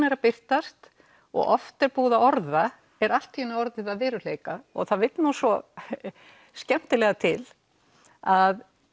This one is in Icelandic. er að birtast og oft er búið að orða er allt í einu orðið að veruleika og það vill svo skemmtilega til að